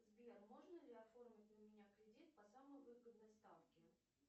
сбер можно ли оформить на меня кредит по самой выгодной ставке